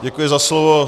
Děkuji za slovo.